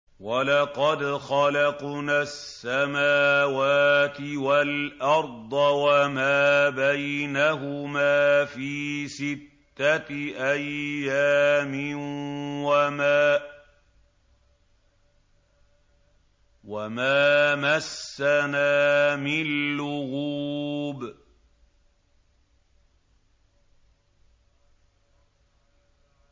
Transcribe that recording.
وَلَقَدْ خَلَقْنَا السَّمَاوَاتِ وَالْأَرْضَ وَمَا بَيْنَهُمَا فِي سِتَّةِ أَيَّامٍ وَمَا مَسَّنَا مِن لُّغُوبٍ